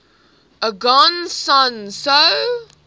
aung san suu